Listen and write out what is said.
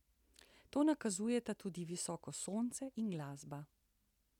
To nakazujeta tudi visoko sonce in glasba.